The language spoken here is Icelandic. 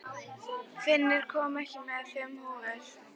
Finnur, ég kom með fimm húfur!